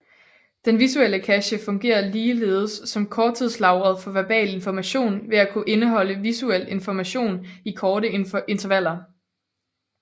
Den visuelle cache fungerer ligeledes som korttidslageret for verbal information ved at kunne indholde visuelt information i korte intervaller